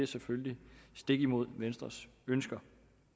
selvfølgelig stik imod venstres ønsker